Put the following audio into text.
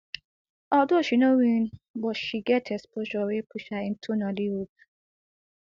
although she no win but she get exposure wey push her into nollywood